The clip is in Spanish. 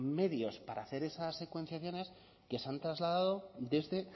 medios para hacer esas secuenciaciones que se han trasladado desde